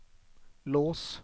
lås